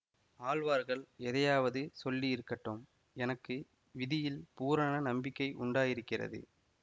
ஆழ்வார்கள் எதையாவது சொல்லியிருக்கட்டும் எனக்கு விதியில் பூரண நம்பிக்கை உண்டாகியிருக்கிறது